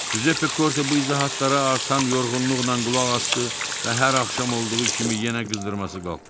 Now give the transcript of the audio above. Cüzeppe Korte bu izahətları artan yorğunluqla qulaq asdı və hər axşam olduğu kimi yenə qızdırması qalxdı.